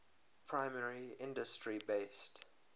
primary industry based